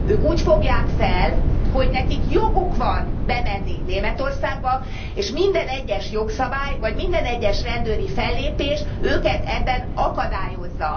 Ők úgy fogják fel, hogy nekik joguk van bemenni Németországba, és minden egyes jogszabály, minden egyes rendőri fellépés őket ebben akadályozza.